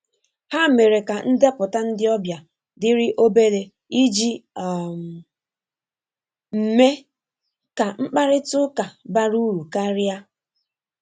Ha mere ka ndepụta ndị ọbịa diri obere iji um mme ka mkparịta ụka bara ụrụ karia.